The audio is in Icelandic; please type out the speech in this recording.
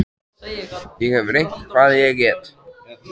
Ég hef reynt hvað ég get.